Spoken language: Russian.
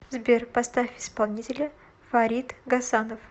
сбер поставь исполнителя фарид гасанов